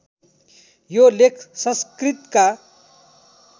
यो लेख संस्कृतका